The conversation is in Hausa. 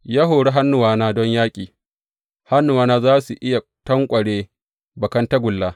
Ya hori hannuwana don yaƙi, hannuwana za su iya tanƙware bakan tagulla.